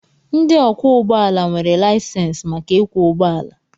Ndị ọkwọ ụgbọala nwere laịsensị maka ịkwọ ụgbọala.